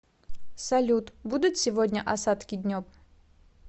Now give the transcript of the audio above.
салют будут сегодня осадки днем